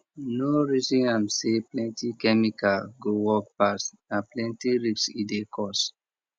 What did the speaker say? no reason am say plenty chemical go work pass na plenty risk e dey cause